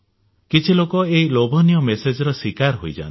କିଛି ଲୋକ ଏହି ଲୋଭନୀୟ ମେସେଜର ଶିକାର ହୋଇଯାଆନ୍ତି